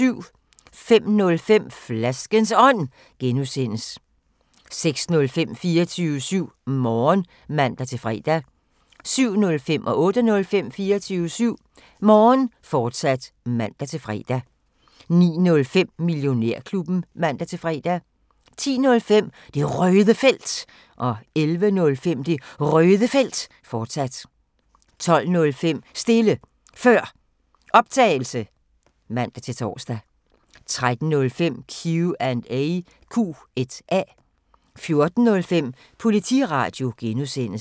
05:05: Flaskens Ånd (G) 06:05: 24syv Morgen (man-fre) 07:05: 24syv Morgen, fortsat (man-fre) 08:05: 24syv Morgen, fortsat (man-fre) 09:05: Millionærklubben (man-fre) 10:05: Det Røde Felt 11:05: Det Røde Felt, fortsat 12:05: Stille Før Optagelse (man-tor) 13:05: Q&A 14:05: Politiradio (G)